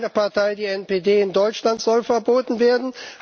Meine Partei, die NPD, in Deutschland soll verboten werden.